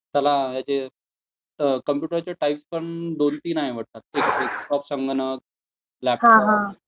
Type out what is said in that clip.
त्याला हयाचे कॉम्युटर चे टाईप पण दोन तीन आहेत वाटतं, लॅपटॉप